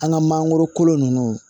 An ka mangoro kolo ninnu